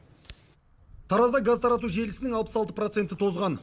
таразда газ тарату желісінің алпыс алты проценті тозған